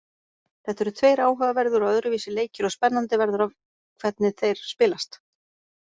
Þetta eru tveir áhugaverðir og öðruvísi leikir og spennandi verður að hvernig þeir spilast.